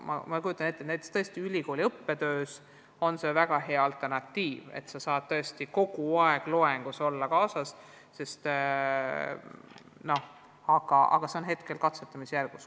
Ma kujutan ette, et ülikooli õppetöös võib see olla väga hea alternatiivne võimalus kogu aeg loengus n-ö sees olla, aga see on alles katsetamisjärgus.